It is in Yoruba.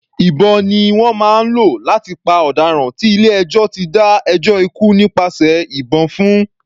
Ìbọn ni wọ́n máa ń lò láti pa ọ̀daràn tí ilé ẹjọ́ ti dá ẹjọ́ ikú nípasẹ̀ ìbọn fún.